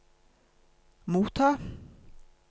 motta